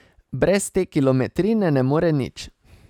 Brez te kilometrine ne more nič.